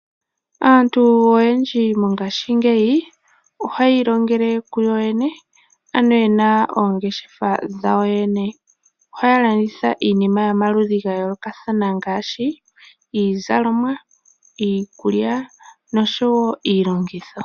Aantu oyendji mongaashingeyi ohayi ilongele kuyo yene, ye na oongeshefa dhayo yene. Oha ya landitha iinima yomaludhi ga yoolokathana , ngaash iizalomwa, iikulya nosho wo iilongitho.